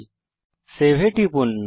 এখন সেভ এ টিপুন